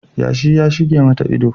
Yashi ya shige mata idanu